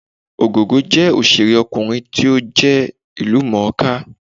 Ògògó jẹ́ òṣèré ọkùnrin tí ó jẹ́ ìlú mọ̀ọ́ kà